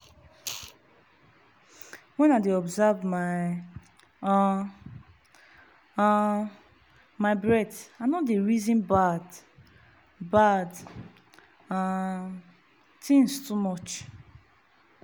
when i dey observe my um um my breath i no reason bad-bad um tins too much.